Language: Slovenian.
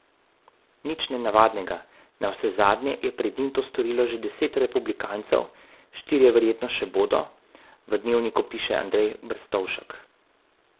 Nič nenavadnega, navsezadnje je pred njim to storilo že deset republikancev, štirje verjetno še bodo, v Dnevniku piše Andrej Brstovšek.